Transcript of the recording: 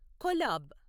collab